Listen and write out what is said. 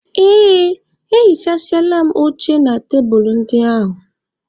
Ee, ehichasịala m oche na tebulu ndị ahụ.